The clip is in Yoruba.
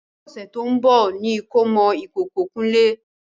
Ọ̀sẹ̀ tó ń bọ̀ ní ìkómọ ìkókó kunle